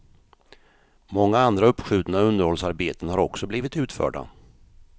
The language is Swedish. Många andra uppskjutna underhållsarbeten har också blivit utförda.